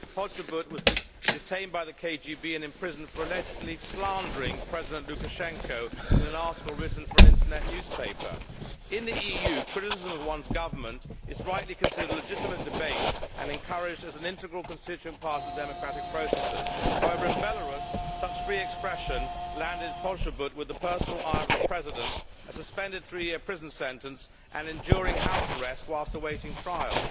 Poczobut was detained by the KGB and imprisoned for allegedly slandering President Lukashenko in an article written for an Internet newspaper. In the EU, criticism of one's government is rightly considered legitimate debate and encouraged as an integral constituent part of the democratic processes. However, in Belarus such free expression earned Poczobut the personal ire of the President, a suspended three year prison sentence and enduring house arrest while awaiting trial.